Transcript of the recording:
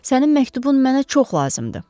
Sənin məktubun mənə çox lazımdır.